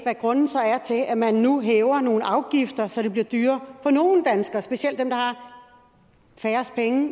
hvad grunden så er til at man nu hæver nogle afgifter så det bliver dyrere for nogle danskere specielt dem der har færrest penge